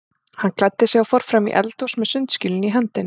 Hann klæddi sig og fór fram í eldhús með sundskýluna í hendinni.